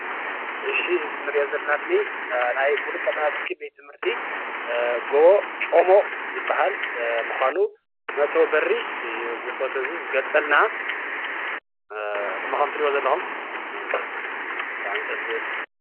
እዚ እንሪኦ ዘለና ምሉእ ቀዳማይ ብርኪ ቤት ትምህርቲ ጎ/ጮሞ ምኳኑ መእተዊ በሪ እዚ ፎቶ እዚ ዝገልፀልና ከምቲ ትረኢዎ ዘለኹም ብጣዕሚ ደስ ዝብል።